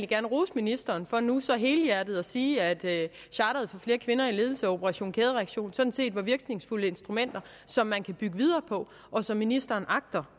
gerne rose ministeren for nu så helhjertet at sige at charter for flere kvinder i ledelse og operation kædereaktion sådan set var virkningsfulde instrumenter som man kan bygge videre på og som ministeren agter